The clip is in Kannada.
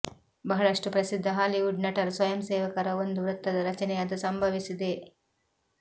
ಬಹಳಷ್ಟು ಪ್ರಸಿದ್ಧ ಹಾಲಿವುಡ್ ನಟರು ಸ್ವಯಂಸೇವಕರ ಒಂದು ವೃತ್ತದ ರಚನೆಯಾದ ಸಂಭವಿಸಿದೆ